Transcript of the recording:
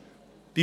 Wichtig ist: